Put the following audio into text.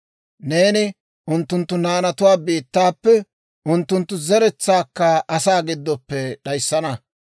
Neeni unttunttu naanatuwaa biittaappe, unttunttu zeretsaakka asaa giddoppe d'ayissana.